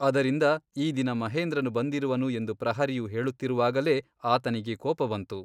ಅದರಿಂದ ಈ ದಿನ ಮಹೇಂದ್ರನು ಬಂದಿರುವನು ಎಂದು ಪ್ರಹರಿಯು ಹೇಳುತ್ತಿರುವಾಗಲೇ ಆತನಿಗೆ ಕೋಪ ಬಂತು.